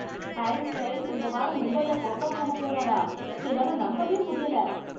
Harry Styles இந்த வாரம் மும்பைல பெர்ஃபாம் பண்ணப் போறாரா! என்னால நம்பவே முடியல!